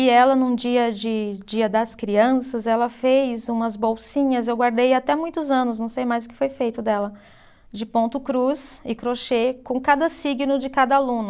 E ela, num dia de, dia das crianças, ela fez umas bolsinhas, eu guardei até muitos anos, não sei mais o que foi feito dela, de ponto cruz e crochê com cada signo de cada aluno.